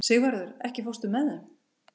Sigvarður, ekki fórstu með þeim?